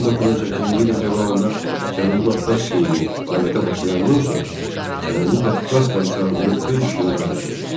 1918-ci ilin fevralında Cənubi Qafqaz Seymi fəaliyyətə başlayandan sonra Cənubi Qafqaz Komissarlığı öz işini dayandırdı.